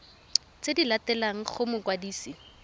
tse di latelang go mokwadisi